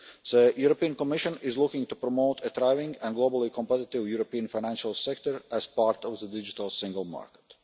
The Commission is looking to promote a thriving and globally competitive European financial sector as part of the Digital Single Market.